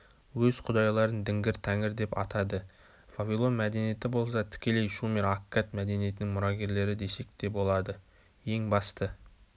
өз құдайларын дінгір-тәңірдеп атады вавилон мәдениеті болса тікелей шумер-аккад мәдениетінің мұрагерлері десек те болады ең басты